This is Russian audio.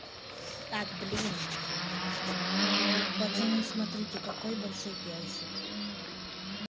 так блин пацаны смотрите какой большой персик